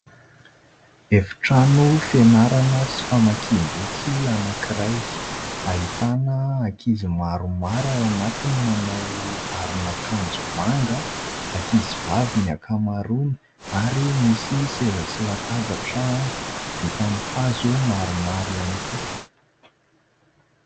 Efitrano fianarana sy famakiam-boky anankiray ; ahitana ankizy maromaro ao anatiny manao aron'akanjo manga, ankizy vavy ny ankamaroany ary misy seza sy latabatra vita amin'ny hazo maromaro ihany koa.